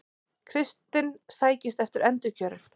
Kristinn sækist eftir endurkjöri